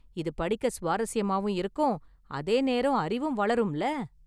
இது படிக்க சுவாரஸ்யமாவும் இருக்கும், அதே நேரம் அறிவும் வளரும்ல.